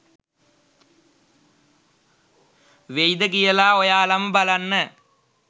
වෙයිද කියලා ඔයාලම බලන්න.